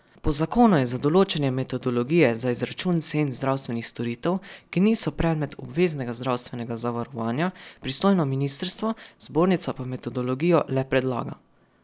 Po zakonu je za določanje metodologije za izračun cen zdravstvenih storitev, ki niso predmet obveznega zdravstvenega zavarovanja, pristojno ministrstvo, zbornica pa metodologijo le predlaga.